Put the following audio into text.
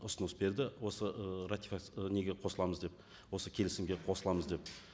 ұсыныс берді осы ы неге қосыламыз деп осы келісімге қосыламыз деп